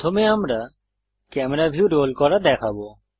প্রথমে আমরা camera view roll করা দেখবো